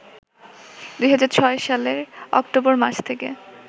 ২০০৬ সালের অক্টোবর মাস থেকে